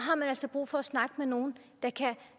brug for at snakke med nogen der